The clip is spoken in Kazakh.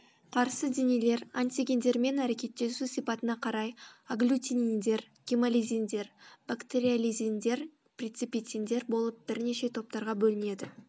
қарсыденелер антигендермен әрекеттесу сипатына қарай агглютининдер гемолизиндер бактериолизиндер преципитиндер болып бірнеше топтарға бөлінеді